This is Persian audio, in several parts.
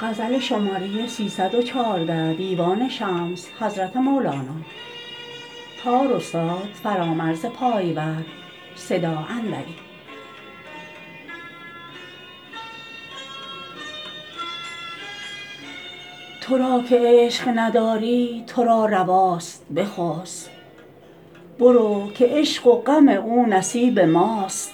تو را که عشق نداری تو را رواست بخسب برو که عشق و غم او نصیب ماست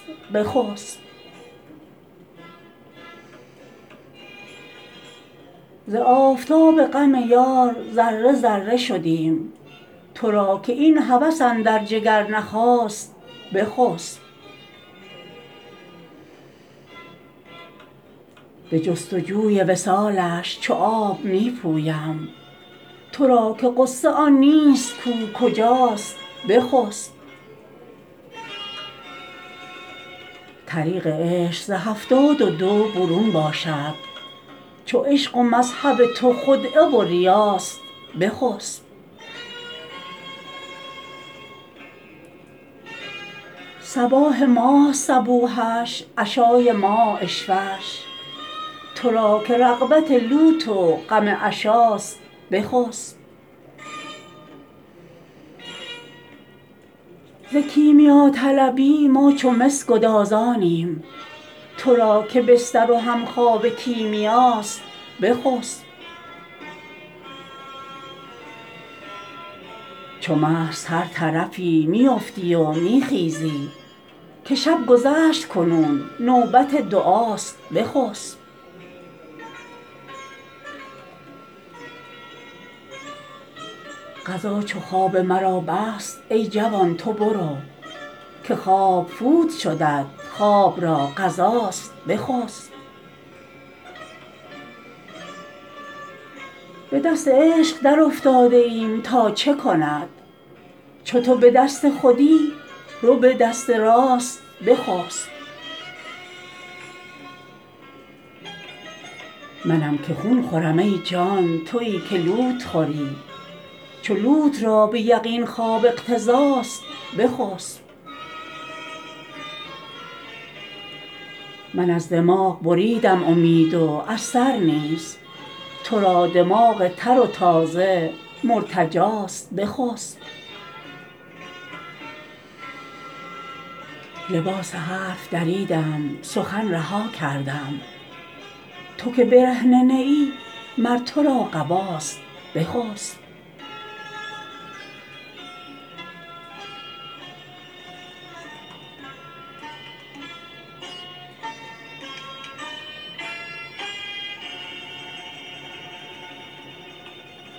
بخسب ز آفتاب غم یار ذره ذره شدیم تو را که این هوس اندر جگر نخاست بخسب به جست و جوی وصالش چو آب می پویم تو را که غصه آن نیست کو کجاست بخسب طریق عشق ز هفتاد و دو برون باشد چو عشق و مذهب تو خدعه و ریاست بخسب صباح ماست صبوحش عشای ما عشوه ش تو را که رغبت لوت و غم عشاست بخسب ز کیمیاطلبی ما چو مس گدازانیم تو را که بستر و همخوابه کیمیاست بخسب چو مست هر طرفی می فتی و می خیزی که شب گذشت کنون نوبت دعاست بخسب قضا چو خواب مرا بست ای جوان تو برو که خواب فوت شدت خواب را قضاست بخسب به دست عشق درافتاده ایم تا چه کند چو تو به دست خودی رو به دست راست بخسب منم که خون خورم ای جان توی که لوت خوری چو لوت را به یقین خواب اقتضاست بخسب من از دماغ بریدم امید و از سر نیز تو را دماغ تر و تازه مرتجاست بخسب لباس حرف دریدم سخن رها کردم تو که برهنه نه ای مر تو را قباست بخسب